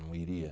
Não iria.